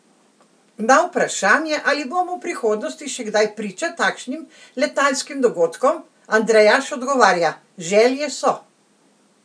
Na vprašanje, ali bomo v prihodnosti še kdaj priča takšnim letalskim dogodkom, Andrejaš odgovarja: "Želje so.